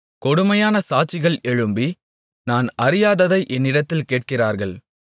கொடுமையான சாட்சிகள் எழும்பி நான் அறியாததை என்னிடத்தில் கேட்கிறார்கள்